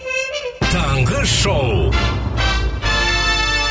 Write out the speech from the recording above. таңғы шоу